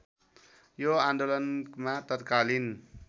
यो आन्दोलनमा तत्कालीन